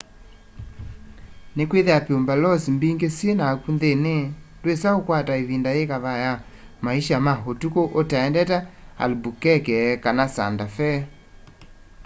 nikwithiwa pueblos mbingi syi naku nthini ndwisa ukwata ivinda yikavaa ya maisha ma utuku utaendete albuquerque kana santa fe